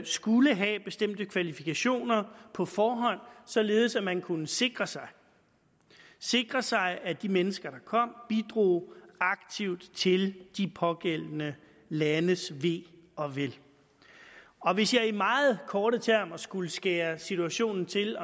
skulle have bestemte kvalifikationer på forhånd således at man kunne sikre sig sikre sig at de mennesker der kom bidrog aktivt til de pågældende landes ve og vel hvis jeg meget kort skulle skære situationen til